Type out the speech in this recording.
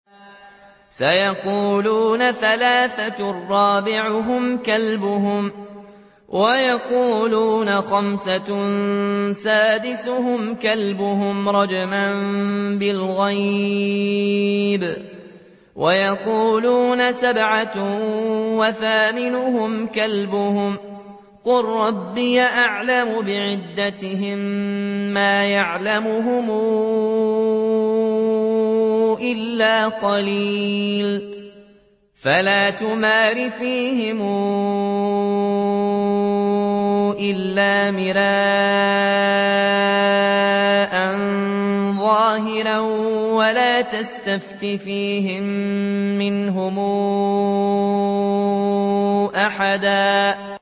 سَيَقُولُونَ ثَلَاثَةٌ رَّابِعُهُمْ كَلْبُهُمْ وَيَقُولُونَ خَمْسَةٌ سَادِسُهُمْ كَلْبُهُمْ رَجْمًا بِالْغَيْبِ ۖ وَيَقُولُونَ سَبْعَةٌ وَثَامِنُهُمْ كَلْبُهُمْ ۚ قُل رَّبِّي أَعْلَمُ بِعِدَّتِهِم مَّا يَعْلَمُهُمْ إِلَّا قَلِيلٌ ۗ فَلَا تُمَارِ فِيهِمْ إِلَّا مِرَاءً ظَاهِرًا وَلَا تَسْتَفْتِ فِيهِم مِّنْهُمْ أَحَدًا